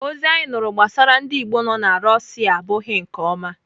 Ozi anyị nụrụ gbasara ndị Igbo nọ na Russia abụghị nke ọma.